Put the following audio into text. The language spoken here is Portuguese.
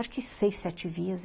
Acho que seis, sete vias.